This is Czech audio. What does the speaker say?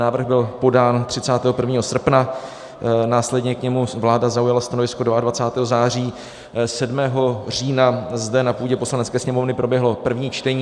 Návrh byl podán 31. srpna, následně k němu vláda zaujala stanovisko 22. září, 7. října zde na půdě Poslanecké sněmovny proběhlo první čtení.